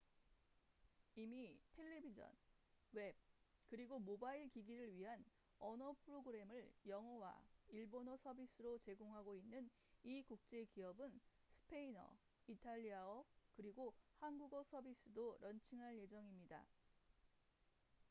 이미 텔레비전 웹 그리고 모바일 기기를 위한 언어 프로그램을 영어와 일본어 서비스로 제공하고 있는 이 국제 기업은 스페인어 이탈리아어 그리고 한국어 서비스도 런칭할 예정입니다